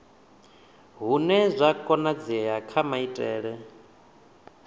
hune zwa konadzea kha maitele